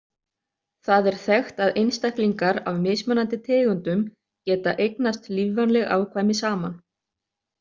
Það er þekkt að einstaklingar af mismunandi tegundum geta eignast lífvænleg afkvæmi saman.